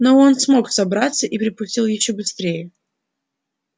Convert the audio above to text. но он смог собраться и припустил ещё быстрее